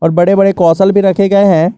और बड़े बड़े कौशल भी रखे गए हैं।